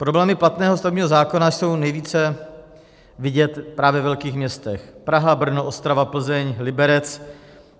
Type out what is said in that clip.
Problémy platného stavebního zákona jsou nejvíce vidět právě ve velkých městech - Praha, Brno, Ostrava, Plzeň, Liberec.